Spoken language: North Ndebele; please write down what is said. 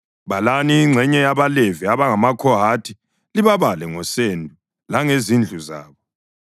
“Balani ingxenye yabaLevi abangamaKhohathi libabale ngosendo langezindlu zabo.